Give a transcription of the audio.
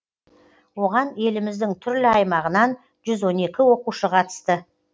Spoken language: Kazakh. оған еліміздің түрлі аймағынан жүз он екі оқушы қатысты